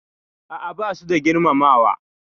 A'a, basu da girmamawa.